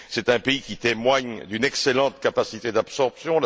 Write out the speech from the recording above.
C'est un pays qui témoigne d'une excellente capacité d'absorption.